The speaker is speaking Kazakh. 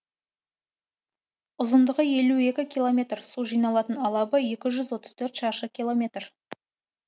ұзындығы елу екі километр су жиналатын алабы екі жүз отыз төрт шаршы километр